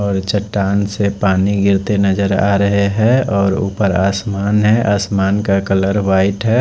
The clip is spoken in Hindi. और चट्टान से पानी गिरते नजर आ रहे है और ऊपर आसमान है आसमान का कलर व्हाइट है।